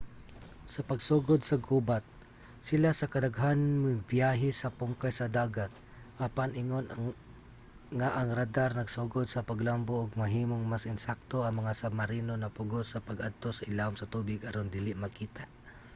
sa pagsugod sa gubat sila sa kadaghanan mibiyahe sa pungkay sa dagat apan ingon nga ang radar nagsugod sa paglambo ug nahimong mas ensakto ang mga submarino napugos sa pag-adto sa ilawom sa tubig aron dili makita